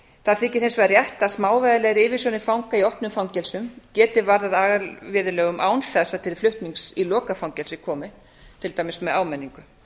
það þykir hins vegar rétt að smávægilegar yfirsjónir fanga í opnum fangelsum geti varðað agaviðurlögum án þess að til flutnings í lokað fangelsi komi til dæmis með áminningu